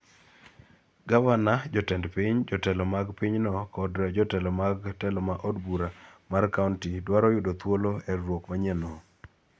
gavana, jotend piny, jotelo mag pinyno kod jotelo mag telo ma od bura mar kaonti dwaro yudo thuolo e riwruok manyienno,